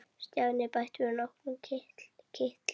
Stjáni bætti við nokkrum kitlum.